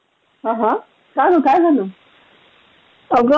ते तुझ्याशी शेअर कराव असा विचार केला म्हणून फोन केला तुला.